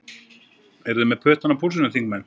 Eru þið með puttann á púlsinum, þingmenn?